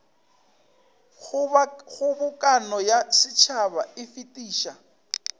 kgobokano ya setšhaba e fetiša